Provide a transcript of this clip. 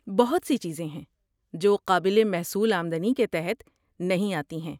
بہت سی چیزیں ہیں جو قابل محصول آمدنی کے تحت نہیں آتی ہیں۔